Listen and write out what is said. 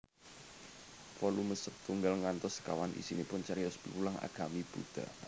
Volume setunggal ngantos sekawan isinipun cariyos piwulang agami Buddha